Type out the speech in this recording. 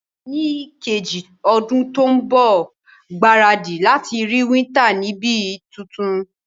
Ní kejì odún to n bò, gbáradì láti rí winter ni ibi tuntun